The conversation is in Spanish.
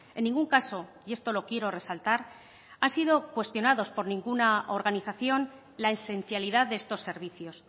en ningún caso y esto lo quiero resaltar han sido cuestionados por ninguna organización la esencialidad de estos servicios